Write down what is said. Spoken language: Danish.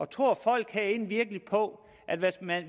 tror folk herinde virkelig på at man